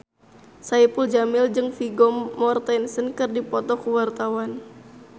Saipul Jamil jeung Vigo Mortensen keur dipoto ku wartawan